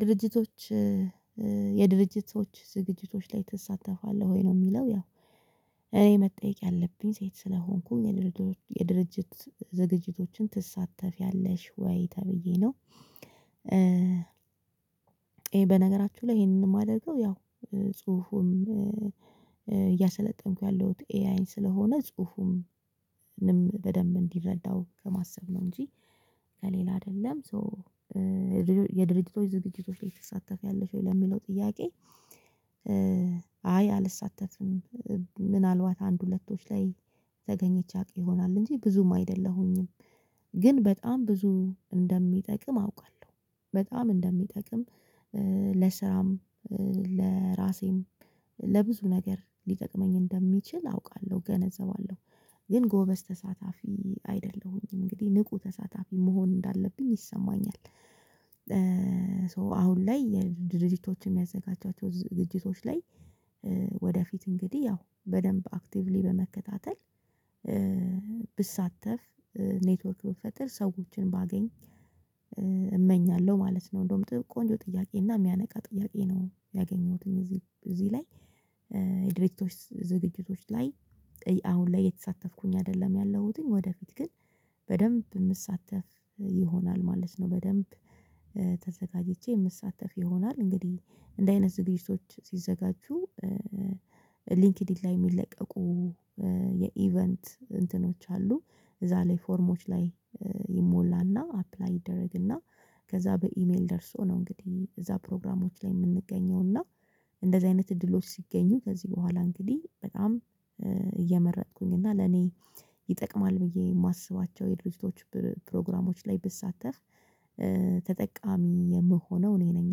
ድርጅቶች የድርጅት ሰዎች ዝግጅቶች ላይ ትሳተፋለህ ወይ ነው የሚለው? ያው እኔ መጠየቅ ያለብኝ ሴት ስለሆንኩኝ የድርጅት ዝግጅቶችን ትሳተፊያለሽ ወይ ተብዬ ነው። ይሄ በነገራችሁ ላይ ይሄንን የማደርገው ያው ጽሁፉም እያሰለጠንኩ ያለሁት ኤአይን ስለሆነ ጽሁፉም በደንብ እንዲረዳው ከማሰብ ነው እንጂ ከሌላ አይደለም። ሶ የድርጅቶች ዝግጅቶች ላይ ትሳተፊያለሽ ወይ ለሚለው ጥያቄ? አይ አልሳተፍንም። ምናልባት አንድ ሁለቶች ላይ ተገኝቼ አቅ ይሆናል እንጂ ብዙም አይደለሁኝም። ግን በጣም ብዙ እንደሚጠቅም አውቃለሁ በጣም እንደሚጠቅም ለስራም ለራሴም ለብዙ ነገር ሊጠቅመኝ እንደሚችል አውቃለሁ ገነዘባለሁ። ግን ጎበዝ ተሳታፊ አይደለሁኝም እንግዲህ ንቁ ተሳታፊ መሆን እንዳለብኝ ይሰማኛል። ሶ አሁን ላይ ድርጅቶችን የሚያዘጋጃቸው ዝግጅቶች ላይ ወደፊት እንግዲህ ያው በደንብ አክቲቭሊ በመከታተል ብሳተፍ ኔትወርክ ብፈጥር ሰዎችን ባገኝ እመኛለሁ። ማለት ነው እንደውም ቆንጆ ጥያቄ እና የሚያነቃ ጥያቄ ነው። ያገኘሁትን እዚህ እዚህ ላይ። የድርጅቶች ዝግጅቶች ላይ አሁን ላይ የተሳተፍኩኝ አይደለም። ያለሁትኝ ወደፊት ግን በደንብ የምትሳተፍ ይሆናል ማለት ነው። በደንብ ተዘጋጅቼ የምትሳተፍ ይሆናል እንግዲህ እንዲህ አይነት ዝግጅቶች ሲዘጋጁ ሊንክድኢን ላይ የሚለቀቁ የኢቨንት እንትኖች አሉ። እዛ ላይ ፎርሞች ላይ ይሞላና አፕላይ ይደረግና ከዛ በኢሜል ደርሶ ነው። እንግዲህ እዛ ፕሮግራሞች ላይ የምንገኘውና እንደዚህ አይነት እድሎች ሲገኙ ከዚህ በኋላ እንግዲህ በጣም እየመረጥኩኝ እና ለኔ ይጠቅማል። ብዬ የማስባቸው የድርጅቶች ፕሮግራሞች ላይ ብሳተህ ተጠቃሚ የምሆነው እኔ ነኝ።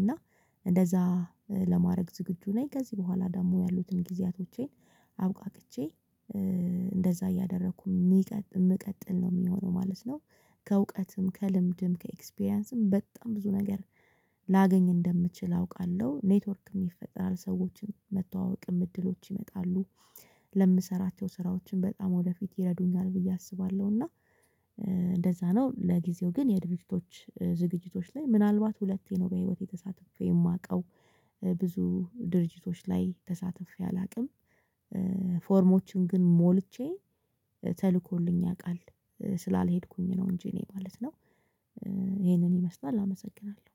እና እንደዛ ለማድረግ ዝግጁ ነኝ። ከዚህ በኋላ ደግሞ ያሉትን ጊዜያቶቼን አብቃቅቼ እንደዛ እያደረኩ የሚቀጥል የሚቀጥል ነው የሚሆነው ማለት ነው። ከእውቀትም ከልምድም ከኤክስፒሪያንስም በጣም ብዙ ነገር ላገኝ እንደምችል አውቃለሁ። ኔትወርክም ይፈጥራል ሰዎችን መተዋወቅም እድሎች ይመጣሉ። ለምሰራቸው ስራዎችን በጣም ወደፊት ይረዱኛል ብዬ አስባለሁ። እና እንደዛ ነው። ለጊዜው ግን የድርጅቶች ዝግጅቶች ላይ ምናልባት ሁለቴ ነው በህይወቴ የተሳተፈ የማውቀው። ብዙ ድርጅቶች ላይ ተሳትፌ አላውቅም። ፎርሞችን ግን ሞልቼ ተልኮልኝ ያውቃል ስላልሄድኩኝ ነው እንጂ እኔ ማለት ነው። ይሄንን ይመስላል አመሰግናለሁ።